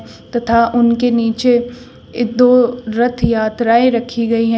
तथा उनके नीचे ए दो रथ यात्राएं रखी गई हैं।